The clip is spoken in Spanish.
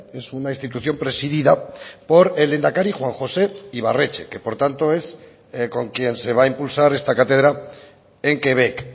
es una institución presidida por el lehendakari juan josé ibarretxe que por tanto es con quien se va a impulsar esta cátedra en quebec